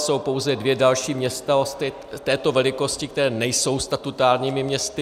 Jsou pouze dvě další města této velikosti, která nejsou statutárními městy.